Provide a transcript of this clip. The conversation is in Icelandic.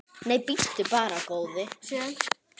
Nei, bíddu bara, góði.